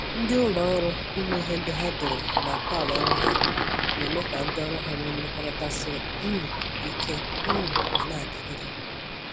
Ndị ụlọ ọrụ ime ihe ndị ha dere na ntọala ọrụ ha na-eme ka ha ndị ọrụ ha nwe mmekọrịta siri um ike um ma na-adịgide